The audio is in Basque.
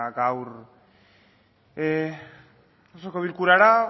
gaur osoko bilkurara